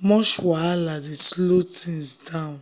much wahala dey slow things down.